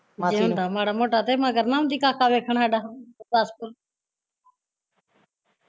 ਜੇ ਹੁੰਦਾ ਮਾੜਾ ਮੋਟਾ ਮਗਰ ਨਾ ਆਉਂਦੀ ਕਾਕਾ ਵੇਖਣ ਸਾਡਾ